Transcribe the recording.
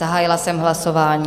Zahájila jsem hlasování.